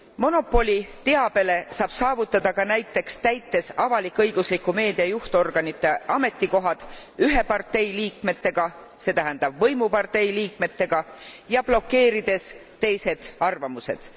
Monopoli teabele saab saavutada ka näiteks täites avalik õigusliku meedia juhtorganite ametikohad ühe partei liikmetega, see tähendab võimupartei liikmetega, ja blokeerides teised arvamused.